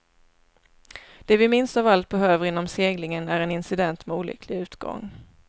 Det vi minst av allt behöver inom seglingen är en incident med olycklig utgång.